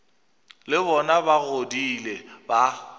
le bona ba godile ba